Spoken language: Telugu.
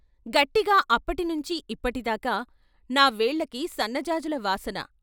గట్టిగా అప్పటి నుంచి ఇప్పటిదాకా నా వేళ్ళకి సన్నజాజుల వాసన.